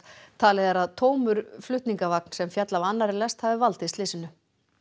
talið er að tómur flutningavagn sem féll af annarri lest hafi valdið slysinu